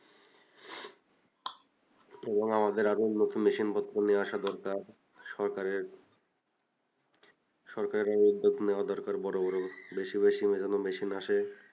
এবং আমাদের আরও উন্নত machine পত্র নিয়ে আসা দরকার সরকারের সরকারের আরও উদ্যোগ নেওয়া দরকার বড়ো বড়ো বেশি বেশি যেন machine আসে